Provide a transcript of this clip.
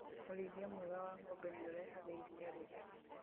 ũrĩithia mwega wa ng'ombe nĩũrehaga iria rĩingĩ